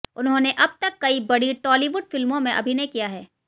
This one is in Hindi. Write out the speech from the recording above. उन्होंने अब तक कई बड़ी टॉलीवुड फिल्मों में अभिनय किया है